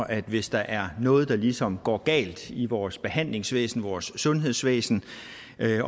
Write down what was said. at hvis der er noget der ligesom går galt i vores behandlingsvæsen vores sundhedsvæsen